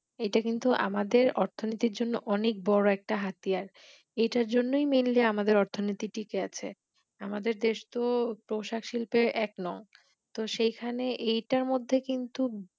এটা কিন্তু আমাদের অর্থনৈতির জন্য অনেক বড় একটা হাতিয়ার এইটার জন্যই Mainly আমাদের অর্থনৈতির টিকে আছে আমাদের দেশ তো পোশাক শিল্পের এক নং তো সেই খানে এইটার মধ্যে কিন্তু